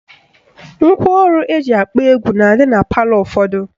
Ngwaọrụ eji akpọ egwu na-adị na palọ ụfọdụ